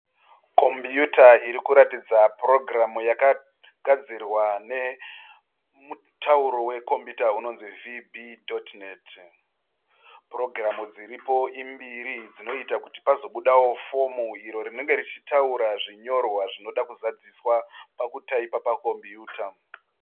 Kombiyuta iri kuratidza purogiramu yakagadzirwa nemutauro wekombiyuta unonzi "vb.net". Purogiramu dziripo imbiri dzinoita kuti pazobudawo fomu iro rinenge richitaura zvinyorwa zvinoda kuzadziswa pakutaipa pakombiyuta.